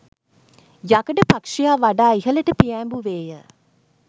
යකඩ පක්ෂියා වඩා ඉහලට පියෑඹුවේය